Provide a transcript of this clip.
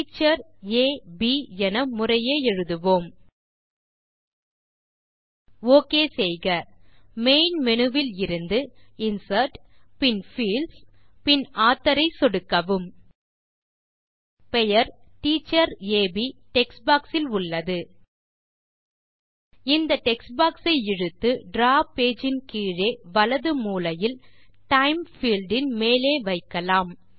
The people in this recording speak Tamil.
டீச்சர் ஆ ப் என முறையே எழுதுவோம் ஒக் செய்க மெயின் மேனு விலிருந்துInsert பின் பீல்ட்ஸ் பின் Authorஐ சொடுக்கவும் பெயர் டீச்சர் ஆ ப் text பாக்ஸ் இல் உள்ளது இந்த பாக்ஸ் ஐ இழுத்து டிராவ் பேஜ் இன் கீழே வலது மூலையில் டைம் பீல்ட் இன் மேலே வைக்கலாம்